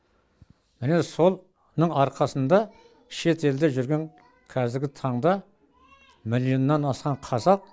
міне сол арқасында шетелде жүрген қазіргі таңда миллионнан асқан қазақ